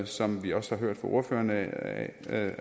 som vi også har hørt fra ordførerne at